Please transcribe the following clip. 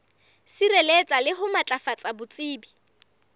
sireletsa le ho matlafatsa botsebi